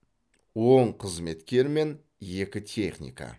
он қызметкер мен екі техника